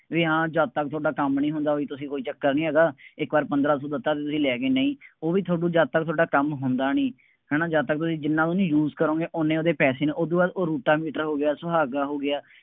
ਬਈ ਹਾਂ ਜਦ ਤੱਕ ਤੁਹਾਡਾ ਕੰਮ ਨਹੀਂ ਹੁੰਦਾ, ਬਈ ਤੁਸੀਂ ਕੋਈ ਚੱਕਰ ਨਹੀਂ ਹੈਗਾ, ਇੱਕ ਵਾਰ ਪੰਦਰਾਂ ਸੌ ਦਿੱਤਾ, ਤੁਸੀਂ ਲੈ ਗਏ ਨਹੀਂ, ਉਹ ਵੀ ਤੁਹਾਨੂੰ ਜਦ ਤੱਕ ਤੁਹਾਡਾ ਕੰਮ ਹੁੰਦਾ ਨਹੀਂ, ਹੈ ਨਾ, ਜਦ ਤੱਕ ਤੁਸੀਂ ਜਿੰਨ੍ਹਾ ਉਹਨੂੰ use ਕਰੋਗੇ, ਉਹਨੇ ਉਹਦੇ ਪੈਸੇ ਨੇ, ਉਹਦੂ ਬਾਅਦ ਉਹ ਰੋਟਾਵੇਟਰ ਹੋ ਗਿਆ, ਸੁਹਾਗਾ ਹੋ ਗਿਆ,